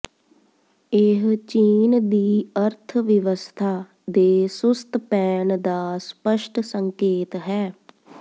ਇਹ ਚੀਨ ਦੀ ਅਰਥਵਿਵਸਥਾ ਦੇ ਸੁਸਤ ਪੈਣ ਦਾ ਸਪੱਸ਼ਟ ਸੰਕੇਤ ਹੈ